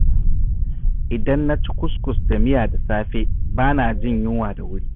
Idan na ci kuskus da miya da safe, ba na jin yunwa da wuri.